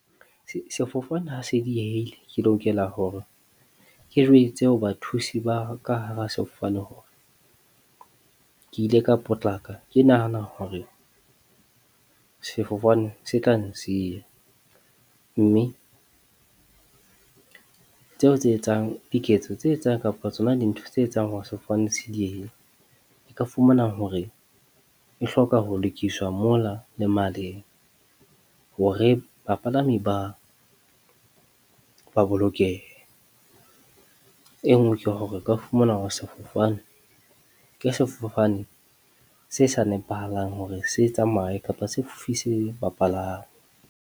Sefofane ha se diehile, ke lokela hore ke jwetse ho bathusi ba ka hara sefofane hore ke ile ka potlaka, ke nahana hore sefofane se ka nsiya. Mme tseo tse etsang diketso tse etsang kapa tsona dintho tse etsang hore sefofane se diehe, o ka fumana hore e hloka ho lokiswa mona le male hore bapalami ba ba bolokehe. E nngwe ke hore o ka fumana ho sefofane ke sefofane se sa nepahalang hore se tsamaye kapa se fofise bapalami.